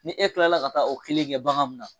Ni e tilala ka taa o kelen kɛ bagan mun na